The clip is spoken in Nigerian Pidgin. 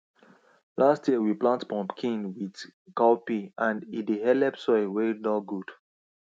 last year we plant pumpkin with cowpea and e dey helep soil wey nor good